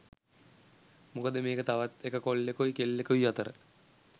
මොකද මේක තවත් එක කොල්ලෙකුයි කෙල්ලෙකුයි අතර